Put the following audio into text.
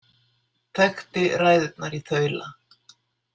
Þekkti ræðurnar í þaula.